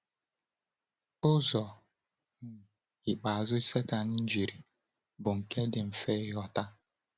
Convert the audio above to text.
Ụzọ um ikpeazụ Sátán jiri bụ nke dị mfe ịghọta.